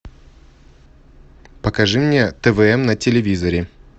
покажи мне твм на телевизоре